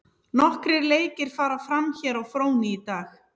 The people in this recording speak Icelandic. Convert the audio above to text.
Nokkrir leiki fara fram hér á fróni í dag.